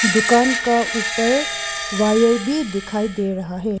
दुकान का ऊपर वायर भी दिखाई दे रहा है।